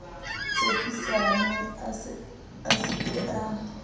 tshepisane a se ke a